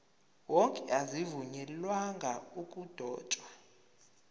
wonke azivunyelwanga ukudotshwa